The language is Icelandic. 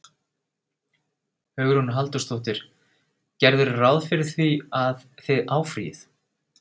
Hugrún Halldórsdóttir: Gerirðu ráð fyrir því að, að þið áfrýið?